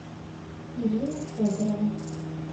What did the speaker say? ирина федорова